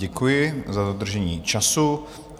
Děkuji za dodržení času.